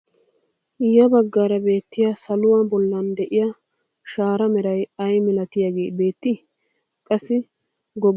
Ya baggaara beettiyaa saluwaa bollan de'iyaa shaaraa meray ay milatiyaagee beettii? qassi goggoloti uttida sohuwaappe ha baggaara de'iyaa mittee sunttay ayba getettii?